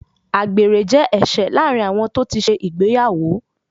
Àgbèrè jẹ́ ẹ̀ṣẹ̀ láàrin àwọn tó ti ṣe ìgbéyàwó.